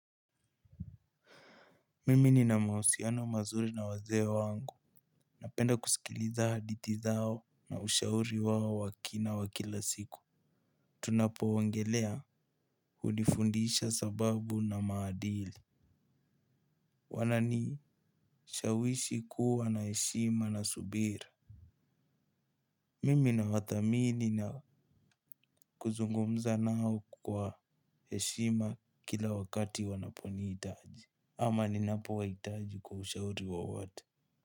Mimi ni namausiano mazuri na wazee wangu. Napenda kusikiliza hadithi zao na ushauri wao wa kina wa kila siku. Tunapo ongelea hunifundisha sababu na maadili. Wanani shawishi kuwa na eshima na subira. Mimi nawathamini na kuzungumza nao kwa eshima kila wakati wanaponiitaji. Ama ninapo waitaji kwa ushauri wowote.